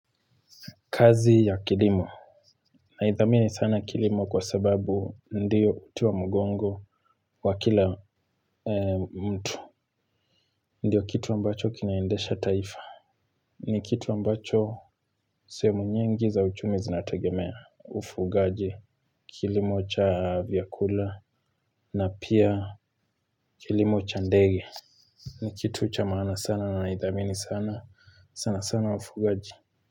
Kazi ya kilimo. Naidhamini sana kilimo kwa sababu ndiyo utiwa mgongo wa kila mtu. Ndio kitu ambacho kinaindesha taifa. Ni kitu ambacho sehemu nyingi za uchumi zinategemea. Ufugaji. Kilimo cha vyakula. Na pia kilimo cha ndege. Ni kitu cha maana sana na naidhami ni sana, sana sana ufugaji.